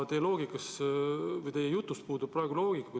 Aga teie jutus puudub praegu loogika.